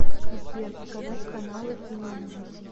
сбер показать каналы киноужас